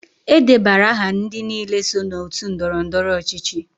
E debara aha ndị niile so n'otu ndọrọ ndọrọ ọchịchị.